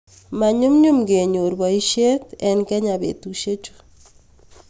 manyumnyum kenyor boiset eng kenya betusiechu